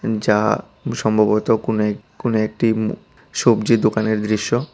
যা সম্ভবত কোনও এক কোনো একটি ম সবজি দোকানের দৃশ্য।